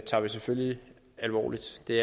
tager vi selvfølgelig alvorligt det